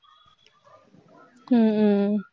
உம் உம்